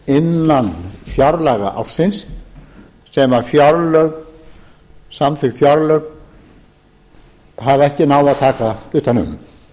innan fjárlagaársins sem samþykkt fjárlög hafa ekki náð að taka utan um